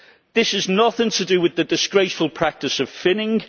This has nothing to do with the disgraceful practice of finning.